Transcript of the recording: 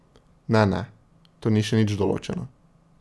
Ne, ne, to ni še nič določeno.